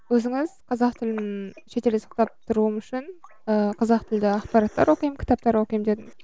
өзіңіз қазақ тілін үшін ііі қазақ тілді ақпараттар оқимын кітаптар оқимын